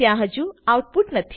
ત્યાં હજુ આઉટપુટ નથી